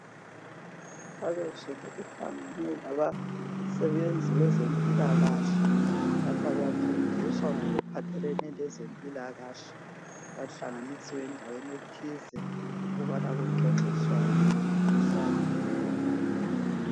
Abezulu kuhlangane labasebenzi bezempilakahle lapha bafundiswa ngokuphathelene lezempilakahle. Bahlanganisiwe endaweni ethize ukubana kuxoxiswane kufundiswane ngakho.